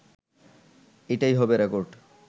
এটাই হবে রেকর্ড